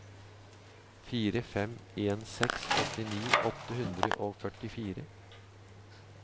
fire fem en seks åttini åtte hundre og førtifire